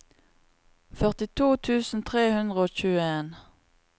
førtito tusen tre hundre og tjueen